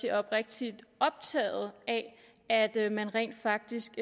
er oprigtigt optaget af at man rent faktisk